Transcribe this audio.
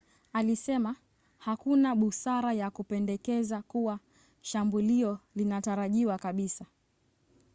alisema hakuna busara ya kupendekeza kuwa shambulio linatarajiwa kabisa